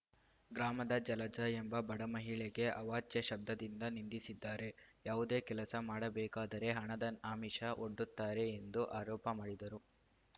ಗ್ರಾಮದ ಜಲಜ ಎಂಬ ಬಡಮಹಿಳೆಗೆ ಅವಾಚ್ಯ ಶಬ್ದದಿಂದ ನಿಂದಿಸಿದ್ದಾರೆ ಯಾವುದೇ ಕೆಲಸ ಮಾಡಬೇಕಾದರೆ ಹಣದ ಆಮಿಷ ಒಡ್ಡುತ್ತಾರೆ ಎಂದು ಆರೋಪ ಮಾಡಿದರು